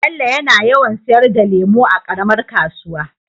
Bello yana yawan sayar da lemu a karamar kasuwa